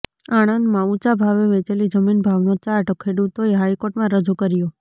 આણંદમાં ઊંચા ભાવે વેચેલી જમીન ભાવનો ચાર્ટ ખેડૂતોએ હાઈકોર્ટમાં રજૂ કર્યો